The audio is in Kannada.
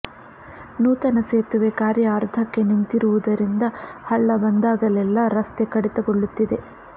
ನೂತನ ಸೇತುವೆ ಕಾರ್ಯ ಅರ್ಧಕ್ಕೆ ನಿಂತಿರುವುದರಿಂದ ಹಳ್ಳ ಬಂದಾಗಲೆಲ್ಲಾ ರಸ್ತೆ ಕಡಿತಗೊಳ್ಳುತ್ತಿದೆ